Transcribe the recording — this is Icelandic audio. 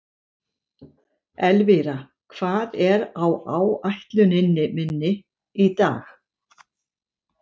Elvíra, hvað er á áætluninni minni í dag?